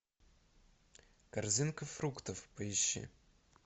корзинка фруктов поищи